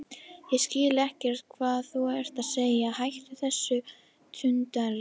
Ég skil ekkert hvað þú ert að segja, hættu þessu tuldri.